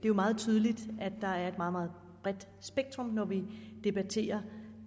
er meget tydeligt at der er et meget meget bredt spektrum når vi debatterer